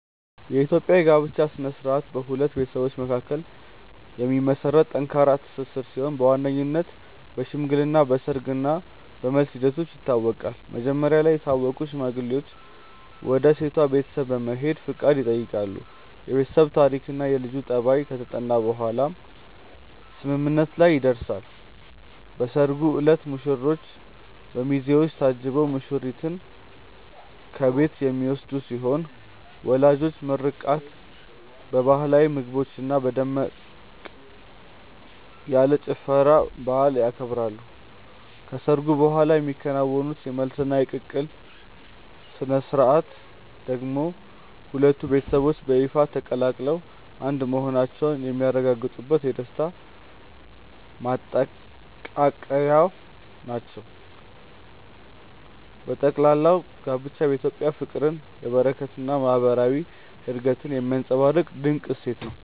የኢትዮጵያ የጋብቻ ሥነ ሥርዓት በሁለት ቤተሰቦች መካከል የሚመሰረት ጠንካራ ትስስር ሲሆን በዋነኝነት በሽምግልና፣ በሰርግ እና በመልስ ሂደቶች ይታወቃል። መጀመሪያ ላይ የታወቁ ሽማግሌዎች ወደ ሴቷ ቤተሰብ በመሄድ ፈቃድ ይጠይቃሉ፤ የቤተሰብ ታሪክና የልጁ ጠባይ ከተጠና በኋላም ስምምነት ላይ ይደረሳል። በሰርጉ ዕለት ሙሽራው በሚዜዎች ታጅቦ ሙሽሪትን ከቤት የሚወስድ ሲሆን በወላጆች ምርቃት፣ በባህላዊ ምግቦችና በደመቅ ያለ ጭፈራ በዓሉ ይከበራል። ከሰርጉ በኋላ የሚከናወኑት የመልስና የቅልቅል ሥነ ሥርዓቶች ደግሞ ሁለቱ ቤተሰቦች በይፋ ተቀላቅለው አንድ መሆናቸውን የሚያረጋግጡበት የደስታ ማጠናቀቂያዎች ናቸው። በጠቅላላው ጋብቻ በኢትዮጵያ ፍቅርን፣ በረከትንና ማህበራዊ አንድነትን የሚያንፀባርቅ ድንቅ እሴት ነው።